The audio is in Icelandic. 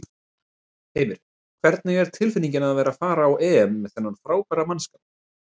Heimir: Hvernig er tilfinningin að vera að fara á EM með þennan frábæra mannskap?